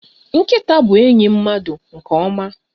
Nkịta bụ enyi mmadụ nke ọma.